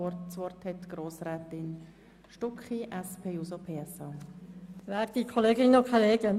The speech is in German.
Ich erteile das Wort Grossrätin Stucki für die SP-JUSO-PSA-Fraktion.